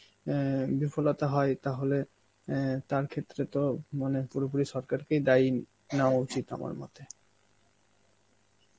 অ্যাঁ বিফলতা হয় তাহলে অ্যাঁ তার ক্ষেত্রে তো মনে পুরোপুরি সরকারকেই দায়ী নেওয়া উচিত আমার মতে.